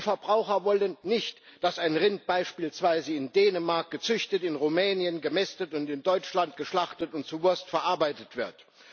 Die Verbraucher wollen nicht, dass ein Rind beispielsweise in Dänemark gezüchtet, in Rumänien gemästet und in Deutschland geschlachtet und zu Wurst verarbeitet wird.